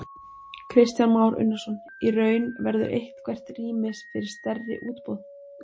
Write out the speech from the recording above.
Kristján Már Unnarsson: Í raun, verður eitthvert rými fyrir stærri útboð?